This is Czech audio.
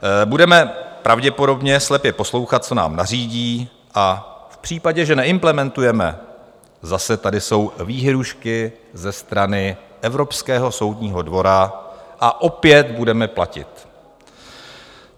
Budeme pravděpodobně slepě poslouchat, co nám nařídí, a v případě, že neimplementujeme, zase tady jsou výhrůžky ze strany Evropského soudního dvora a opět budeme platit.